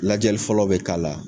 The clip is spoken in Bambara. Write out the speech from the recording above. Lajɛli fɔlɔ bɛ k'a la